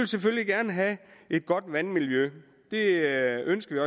selvfølgelig gerne have et godt vandmiljø det ønsker